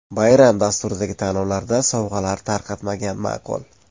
Bayram dasturidagi tanlovlarda sovg‘alar tarqatmagan ma’qul.